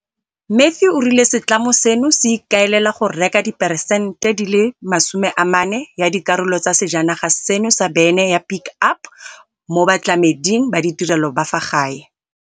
Matthew o rile setlamo seno se ikaelela go reka diperesente di le masome a mane ya dikarolo tsa sejanaga seno sa bene ya Pick Up mo batlameding ba ditirelo ba fa gae.